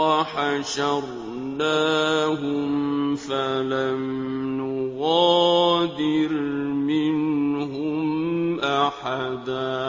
وَحَشَرْنَاهُمْ فَلَمْ نُغَادِرْ مِنْهُمْ أَحَدًا